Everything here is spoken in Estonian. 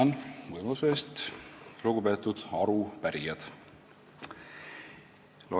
Tänan võimaluse eest, lugupeetud arupärijad!